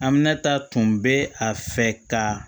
An bɛna ta tun bɛ a fɛ ka